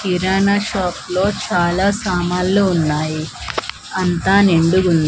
కిరాణా shop లో చాలా సామాల్లు ఉన్నాయి అంతా నిండుగుం--